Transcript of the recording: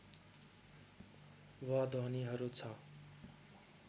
व ध्वनिहरू छ